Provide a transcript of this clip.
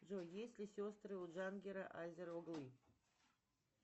джой есть ли сестры у джангир азер оглы